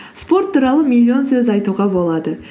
спорт туралы миллион сөз айтуға болады